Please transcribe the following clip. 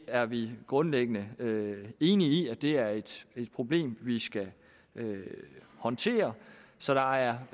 er vi grundlæggende enige i det er et problem vi skal håndtere så der er